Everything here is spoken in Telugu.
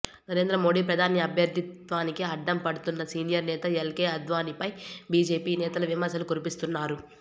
నరేంద్ర మోడీ ప్రధాని అభ్యర్థిత్వానికి అడ్డం పడ్తోన్న సీనియర్ నేత ఎల్ కే అద్వానీపై బీజేపీ నేతలు విమర్శలు కురిపిస్తున్నారు